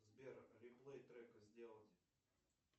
сбер реплей трека сделать